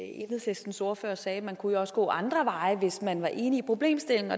enhedslistens ordfører sagde man kunne jo også gå ad andre veje hvis man var enig i problemstillingen